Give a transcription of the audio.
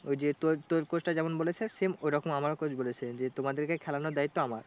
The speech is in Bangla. ওই যে তোর তোর coach টা যেমন বলেছে same ওরকম আমারও coach বলেছে যে তোমাদেরকে খেলানোর দায়িত্ব আমার